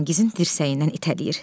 Firəngizin dirsəyindən itələyir.